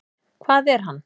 Hvað er hann?